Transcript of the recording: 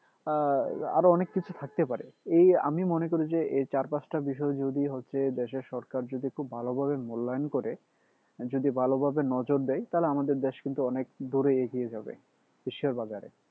আহ আরও অনেক কিছু থাকতে পারে এই আমি মনে করি যে এই চার পাঁচটা বিষয় যদি হচ্ছে দেশের সরকার যদি খুব ভালো ভাবে মূল্যায়ন করে যদি ভালো ভাবে নজর দেয় তাহলে আমাদের দেশ কিন্তু অনেক দূরে এগিয়ে যাবে বিশ্বের বাজারে